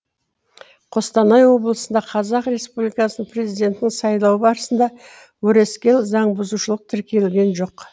қостанай облысында қазақ республикасының президентінің сайлауы барысында өрескел заңбұзушылық тіркелген жоқ